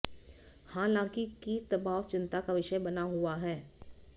हालांकि कीट दबाव चिंता का विषय बना हुआ है